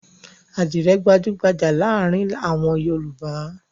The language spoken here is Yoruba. Àdìrẹ́ gbajú-gbajà láàárin àwọn Yorùbá.